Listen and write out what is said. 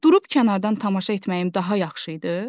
Durub kənardan tamaşa etməyim daha yaxşı idi?